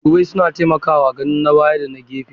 Madubai suna taimakawa ganin na baya da na gefe.